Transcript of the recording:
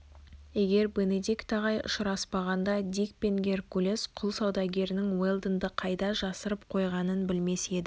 егер бенедикт ағай ұшыраспағанда дик пен геркулес құл саудагерінің уэлдонды қайда жасырып қойғанын білмес еді